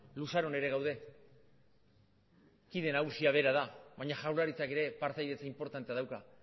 luzaron ere gaude kide nagusia bera da baina jaurlaritzak ere partaidetza inportantea dauka